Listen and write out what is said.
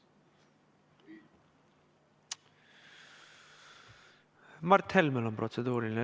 Mart Helmel on protseduuriline.